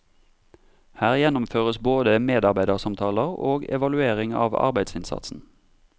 Her gjennomføres både medarbeidersamtaler og evaluering av arbeidsinnsatsen.